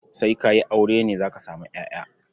Sai ka yi aure ne za ka samu ƴaƴa.